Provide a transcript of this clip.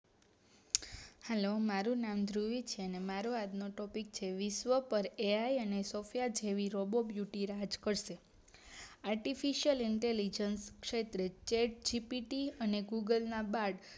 hello મારુ નામ ધ્રુવી છે અને મારો આજનો topic છે વિશ્વ પર એ આઈ અને સૉફયા જેવી રોબો બ્યુટી રાજ કરશે artificialinterligent ક્ષેત્રે થ્રેડ જિ પી ટી અને ગુગલ ના બાટ